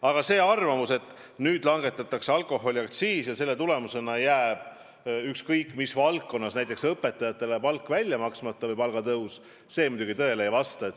Aga see arvamus, et nüüd langetatakse alkoholiaktsiisi ja selle tagajärjel jääb ükskõik mis valdkonnas, näiteks hariduses õpetajatele palk välja maksmata või palgatõus ära – see muidugi tõele ei vasta.